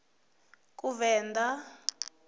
kuvenḓa